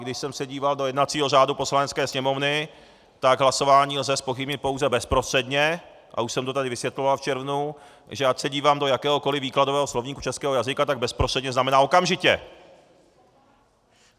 Když jsem se díval do jednacího řádu Poslanecké sněmovny, tak hlasování lze zpochybnit pouze bezprostředně - a už jsem to tady vysvětloval v červnu, že ať se dívám do jakéhokoli výkladového slovníku českého jazyka, tak bezprostředně znamená okamžitě.